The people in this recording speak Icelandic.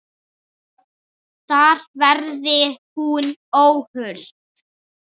Ég drekk bara lýsi!